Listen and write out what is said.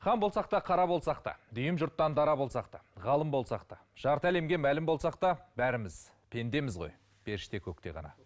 хан болсақ та қара болсақ та дүйім жұрттан дара болсақ та ғалым болсақ та жарты әлемге мәлім болсақ та бәріміз пендеміз ғой періште көкте ғана